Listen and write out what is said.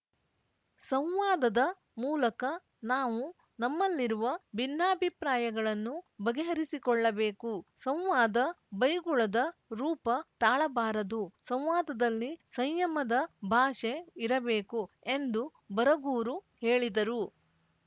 ಸಂವಾದದ ಮೂಲಕ ನಾವು ನಮ್ಮಲ್ಲಿರುವ ಭಿನ್ನಾಭಿಪ್ರಾಯಗಳನ್ನು ಬಗೆಹರಿಸಿಕೊಳ್ಳಬೇಕು ಸಂವಾದ ಬೈಗುಳದ ರೂಪ ತಾಳಬಾರದು ಸಂವಾದದಲ್ಲಿ ಸಂಯಮದ ಭಾಷೆ ಇರಬೇಕು ಎಂದು ಬರಗೂರು ಹೇಳಿದರು